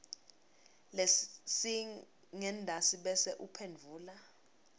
lesingentasi bese uphendvula